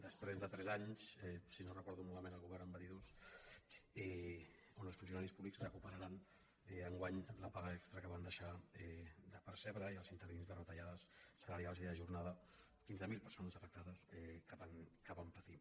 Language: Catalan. després de tres anys si no ho recordo malament el govern me’n va dir dos ara els funcionaris públics recuperaran enguany la paga extra que van deixar de percebre i els interins de retallades salarials i de jornada quinze mil perso·nes afectades que van patir